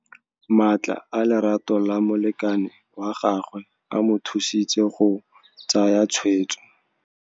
Matla a lerato la molekane wa gagwe a mo thusitse go tsaya tshweêtsô.